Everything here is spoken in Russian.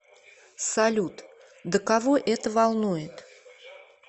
салют да кого это волнует